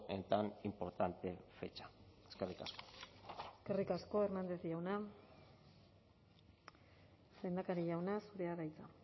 en tan importante fecha eskerrik asko eskerrik asko hernández jauna lehendakari jauna zurea da hitza